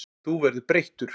Þú verður breyttur.